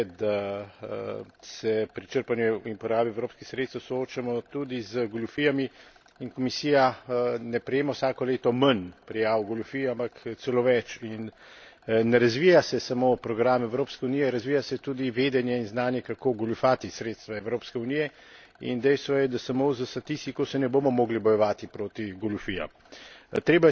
Dejstvo je, da se pri črpanju in porabi evropskih sredstev soočamo tudi z goljufijami in Komisija ne prejema vsako leto manj prijav goljufij, ampak celo več, in ne razvija se samo program Evropske unije, razvija se tudi vedenje in znanje, kako goljufati sredstva Evropske unije. In dejstvo je, da samo s statistiko se ne bomo mogli bojevati proti goljufijam.